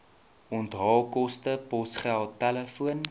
onthaalkoste posgeld telefoon